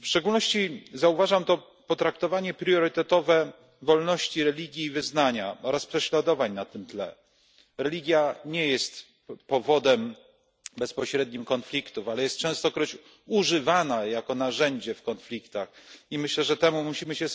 W szczególności zauważam to potraktowanie priorytetowe wolności religii i wyznania oraz prześladowań na tym tle. Religia nie jest bezpośrednim powodem konfliktów, ale jest częstokroć używana jako narzędzie w konfliktach. Myślę, że temu musimy się